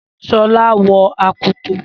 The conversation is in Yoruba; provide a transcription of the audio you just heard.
Shola wọ akoto.